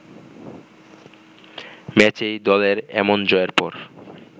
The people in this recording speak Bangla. ম্যাচেই দলের এমন জয়ের পর